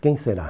Quem será?